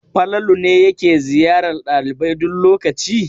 Falalu ne yake ziyarar ɗalibai duk lokaci?